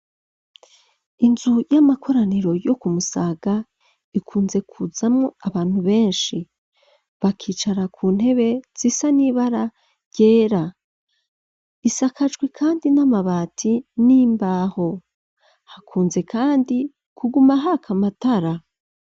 Inzu y'amakoraniro yo kumusaga ikunze kuzamo abantu benshi bakicara ku ntebe sisa n'ibara ryera isakajwi kandi n'amabati n'imbaho hakunze kandi kuguma hakamatara.